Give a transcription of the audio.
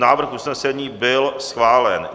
Návrh usnesení byl schválen.